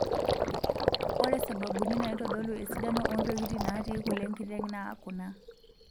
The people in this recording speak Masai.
Ore sababuni naitodolu esidano oo ntokitin naati kule enkiteng' naa kuna;